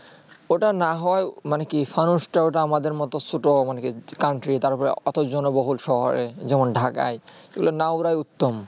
ওটা না হয়ে মানে কি ফানুস তা আমাদের মতুন ছোট মানে কি country তার পরে ওত্তো জন্যে বহুল শহরে যেমন ঢাকায় এইগুলা না ওড়া ই উত্তম